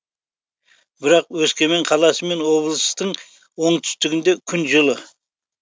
бірақ өскемен қаласы мен облыстың оңтүстігінде күн жылы